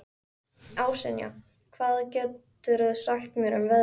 Ásynja, hvað geturðu sagt mér um veðrið?